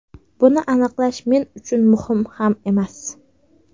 Buni aniqlash men uchun muhim ham emas.